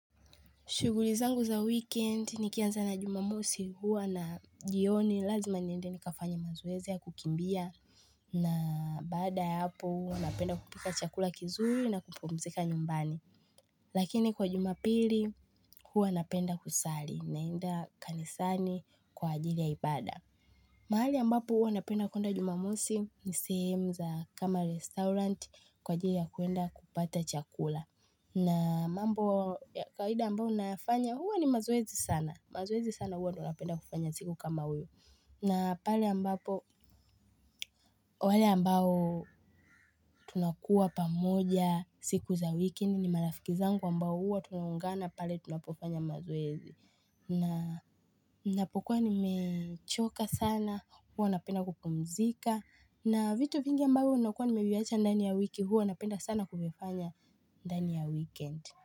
Shughuli zangu za wikendi nikianza na jumamosi huwa na jioni lazima niende nikafanye mazoezi ya kukimbia na baada ya hapo huwa napenda kupika chakula kizuri na kupumzika nyumbani. Lakini kwa jumapili huwa napenda kusali naenda kanisani kwa ajili ya ibada. Mahali ambapo huwa napenda kuenda jumamosi ni sehemu za kama restaurant kwa ajili ya kuenda kupata chakula. Na mambo ya kawada ambayo nafanya huwa ni mazoezi sana. Mazoezi sana huwa tunapenda kufanya siku kama huyo. Na pale ambapo, wale ambao tunakuwa pamoja siku za wiki ni ni marafiki zangu ambao huwa tunaungana pale tunapofanya mazoezi. Na ninapokua nimechoka sana huwa napenda kupumzika. Na vitu vingi ambavyo nakuwa nimeviacha ndani ya wiki huwa napenda sana kuvifanya ndani ya wikendi.